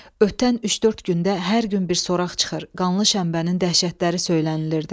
Ötən üç-dörd gündə hər gün bir soraq çıxır, qanlı şənbənin dəhşətləri söylənilirdi.